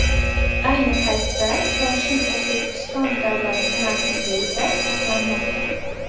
Ayni paytda koshin O‘zbekiston davlat san’at muzeyida saqlanmoqda.